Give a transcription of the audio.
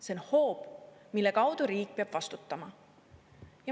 See on hoob, mille kaudu riik peab vastutama.